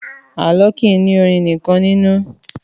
Àlọ́ kìí ní orin nìkan nínú.